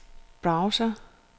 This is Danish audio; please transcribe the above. browser